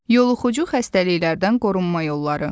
Yoluxucu xəstəliklərdən qorunma yolları.